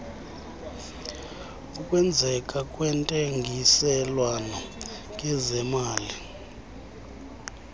ukwenzeka kwentengiselwano ngezemali